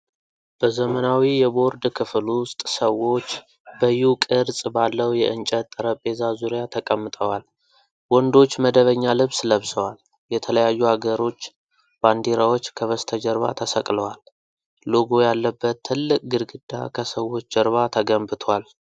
በዘመናዊ የቦርድ ክፍል ውስጥ ሰዎች በ"ዩ" ቅርፅ ባለው የእንጨት ጠረጴዛ ዙሪያ ተቀምጠዋል። ወንዶች መደበኛ ልብስ ለብሰዋል፤ የተለያዩ አገሮች ባንዲራዎች ከበስተጀርባ ተሰቅለዋል። ሎጎ ያለበት ትልቅ ግድግዳ ከሰዎች ጀርባ ተገንብቷል።